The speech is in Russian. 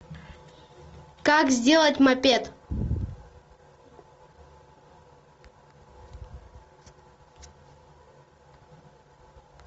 как сделать мопед